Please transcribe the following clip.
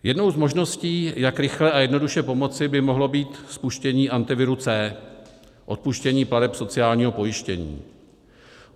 Jednou z možností, jak rychle a jednoduše pomoci, by mohlo být spuštění Antiviru C, odpuštění plateb sociálního pojištění.